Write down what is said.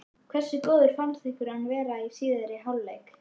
Hversu góður fannst ykkur hann vera í síðari hálfleik?